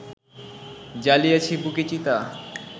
জ্বালিয়াছি বুকে চিতা